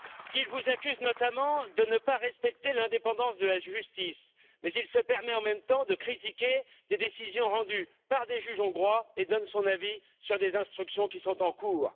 Il vous accuse notamment de ne pas respecter l'indépendance de la justice, mais il se permet en même temps de critiquer des décisions rendues par des juges hongrois et donne son avis sur des instructions qui sont en cours.